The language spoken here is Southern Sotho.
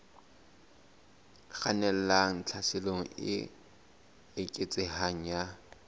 kgannelang tlhaselong e eketsehang ya